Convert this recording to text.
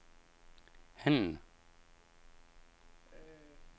HanI retsplejen gennemføres offentlighed og mundtlighed i videst muligt omfang.